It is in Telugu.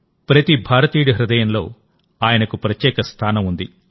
ప్రతి భారతీయుడి హృదయంలో ఆయనకు ప్రత్యేక స్థానం ఉంది